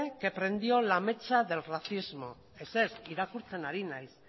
que prendió la mecha del racismo ez ez irakurtzen ari naiz